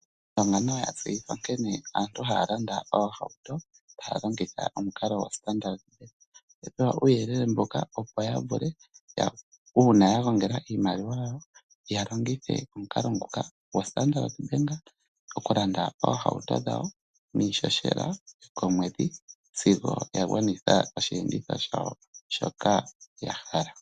Aandonga nayo aantu ya tseyithwa nkene aantu haya landa oohauto haya longitha omukalo goStandard Bank, oya uuyelele mbuka opo ya vule uuna ya gongela iimaliwa yawo ya longithe omukalo nguka goStandard Bank oku landa oohauto dhawo niishoshela komwedhi sigo ya gwanitha osheenditho shawo shoka ya hala.